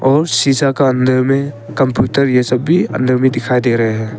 और शिशा के अंदर में कंप्यूटर यह सभ भी अंदर में दिखाई दे रहे हैं।